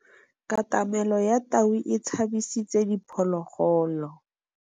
Katamêlô ya tau e tshabisitse diphôlôgôlô.